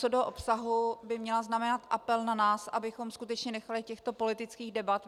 Co do obsahu by měla znamenat apel na nás, abychom skutečně nechali těchto politických debat.